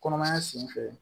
Kɔnɔmaya sen fɛ